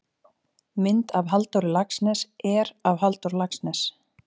mynd af halldóri laxness er af halldór laxness